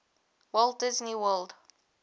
walt disney world